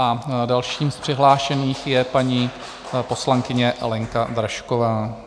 A dalším z přihlášených je paní poslankyně Lenka Dražková.